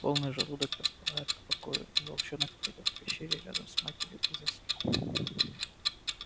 полный желудок располагает к покою и волчонок прилёг в пещере рядом с матерью и заснул